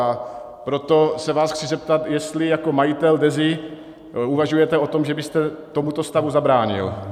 A proto se vás chci zeptat, jestli jako majitel Dezy uvažujete o tom, že byste tomuto stavu zabránil.